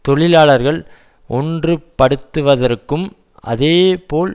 தொழிலாளர்கள் ஒன்றுபடுத்துவதற்கும் அதேபோல்